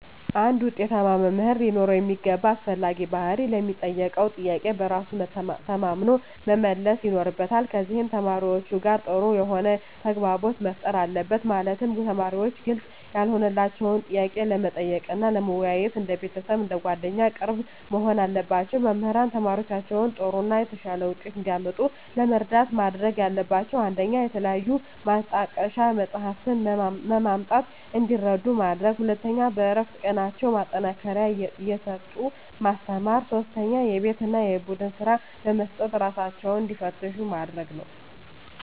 አንድ ውጤታማ መምህር ሊኖረው የሚገባ አስፈላጊ ባህሪ ለሚጠየቀው ጥያቄ በራሱ ተማምኖ መመለስ ይኖርበታል ከዚም ከተማሪዎቹ ጋር ጥሩ የሆነ ተግባቦት መፍጠር አለበት ማለትም ተማሪዎች ግልጽ ያልሆነላቸውን ጥያቄ ለመጠየቅ እና ለመወያየት እንደ ቤተሰብ አንደ ጓደኛ ቅርብ መሆን አለባቸው። መምህራን ተማሪዎቻቸውን ጥሩ እና የተሻለ ውጤት እንዲያመጡ ለመርዳት ማድረግ ያለባቸው 1 ከተለያዩ ማጣቀሻ መፅሃፍትን በማምጣት እንዲረዱ ማድረግ 2 በእረፍት ቀናቸው ማጠናከሪያ እየጠሩ ማስተማር 3 የቤት እና የቡድን ስራ በመስጠት እራሳቸውን እንዲፈትሹ ማድረግ ነው